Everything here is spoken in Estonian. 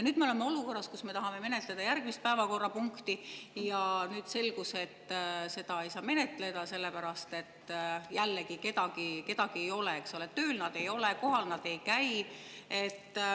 Nüüd me oleme olukorras, kus me tahame menetleda järgmist päevakorrapunkti, aga on selgunud, et seda ei saa menetleda, sest jällegi kedagi siin ei ole, tööl neid ei ole, kohal nad ei käi.